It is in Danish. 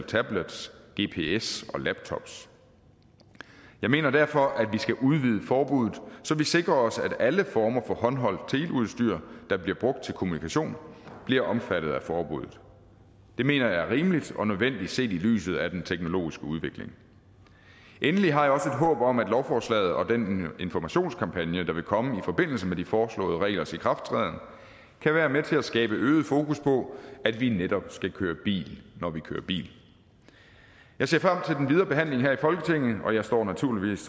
tablets gps og laptops jeg mener derfor at vi skal udvide forbuddet så vi sikrer os at alle former for håndholdt teleudstyr der bliver brugt til kommunikation bliver omfattet af forbuddet det mener jeg er rimeligt og nødvendigt set i lyset af den teknologiske udvikling endelig har håb om at lovforslaget og den informationskampagne der vil komme i forbindelse med de foreslåede reglers ikrafttræden kan være med til at skabe øget fokus på at vi netop skal køre bil når vi kører bil jeg ser frem den videre behandling her i folketinget og jeg står naturligvis